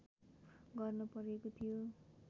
गर्न परेको थियो